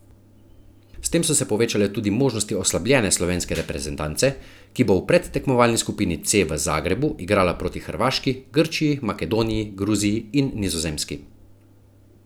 S tem so se povečale tudi možnosti oslabljene slovenske reprezentance, ki bo v predtekmovalni skupini C v Zagrebu igrala proti Hrvaški, Grčiji, Makedoniji, Gruziji in Nizozemski.